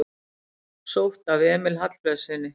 Sótt að Emil Hallfreðssyni